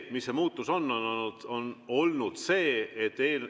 Mis see muutus on olnud?